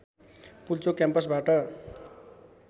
Pulchowk क्याम्पसबाट